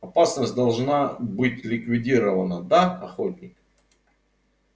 опасность должна быть ликвидирована да охотник